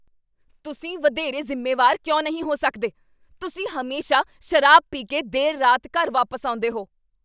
ਤੁਸੀਂ ਵਧੇਰੇ ਜ਼ਿੰਮੇਵਾਰ ਕਿਉਂ ਨਹੀਂ ਹੋ ਸਕਦੇ? ਤੁਸੀਂ ਹਮੇਸ਼ਾ ਸ਼ਰਾਬ ਪੀ ਕੇ ਦੇਰ ਰਾਤ ਘਰ ਵਾਪਸ ਆਉਂਦੇਹੋ।